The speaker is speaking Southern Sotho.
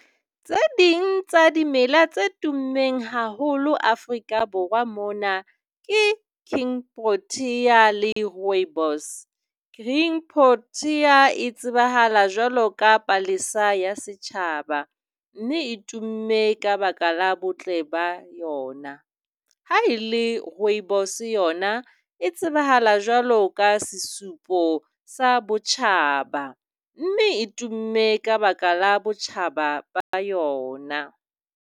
Tse ding tsa dimela tse tummeng haholo Afrika Borwa mona ke king protea le rooibos. King Protea e tsebahala jwalo ka palesa ya setjhaba mme e tumme ka baka la botle ba yona. Ha ele rooibos yona e tsebahala jwalo ka sesupo sa botjhaba mme e tumme ka baka la botjhaba ba yona.